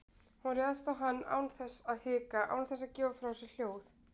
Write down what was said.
Hún réðst á hann án þess að hika, án þess að gefa frá sér hljóð.